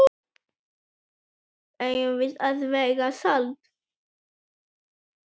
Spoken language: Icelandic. Eigum við að vega salt?